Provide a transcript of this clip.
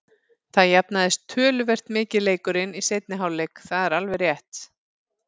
Það jafnaðist töluvert mikið leikurinn í seinni hálfleik, það er alveg rétt.